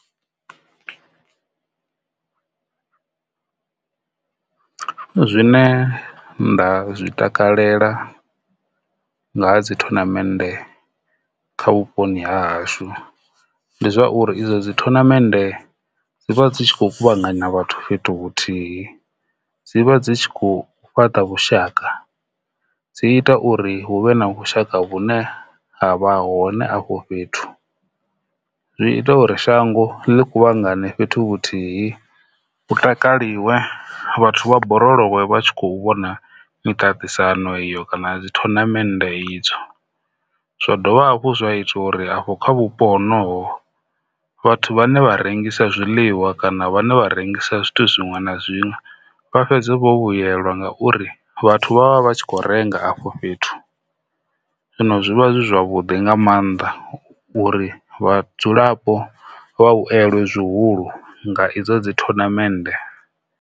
Zwine nda zwi takalela nga ha dzi thonamennde kha vhuponi ha hashu ndi zwa uri idzo dzi thonamennde ende dzi vha dzi tshi kho kuvhanganya vhathu fhethu vhuthihi dzi vha dzi tshi kho fhaṱa vhushaka dzi ita uri hu vhe na vhushaka vhune ha vha hone afho fhethu. Zwi ita uri shango ḽi kuvhangana fhethu vhuthihi takaliwa vhathu vha borolowe vha tshi kho vhona miṱaṱisano iyo kana zwi thonamennde idzo. Zwa dovha hafhu zwa ita uri afho kha vhupo honovho vhathu vhane vha rengisa zwiḽiwa kana vhane vha rengisa zwithu zwiṅwe na zwiṅwe vha fhedze vho vhuyelwa ngauri vhathu vha vha vha tshi kho renga afho fhethu zwino zwivha zwi zwavhuḓi nga maanḓa uri vhadzulapo vha vhuelelwe zwihulu nga idzo dzi thonamennde.